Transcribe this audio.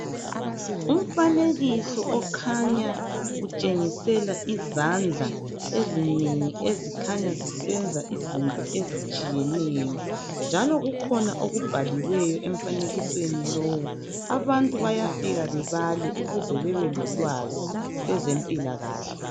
Umfanekiso okhanya utshengisela izandla ezinengi, ezikhanya zisenza izinto ezitshiyeneyo, mjalo kukhona lokubhaliweyo emfanekisweni lo. Abantu bayafika bebale. Ukuze babe lolwazi, kwezempilakahle.